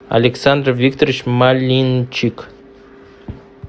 александр викторович малинчик